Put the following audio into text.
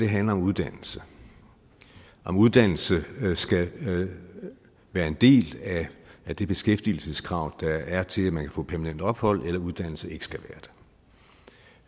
handler om uddannelse om uddannelse skal være en del af det beskæftigelseskrav der er til at man kan få permanent ophold eller om uddannelse ikke skal